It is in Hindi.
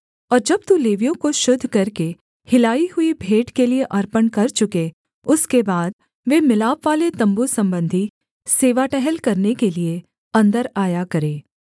और जब तू लेवियों को शुद्ध करके हिलाई हुई भेंट के लिये अर्पण कर चुके उसके बाद वे मिलापवाले तम्बू सम्बंधी सेवा टहल करने के लिये अन्दर आया करें